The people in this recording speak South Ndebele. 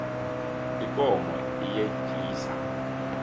ikomo iyetjisa